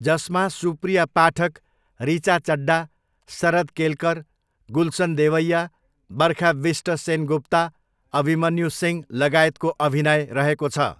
जसमा सुप्रिया पाठक, ऋचा चड्डा, शरद केलकर, गुलसन देवैया, बरखा बिष्ट सेनगुप्ता, अभिमन्यु सिंह लगायतको अभिनय रहेको छ।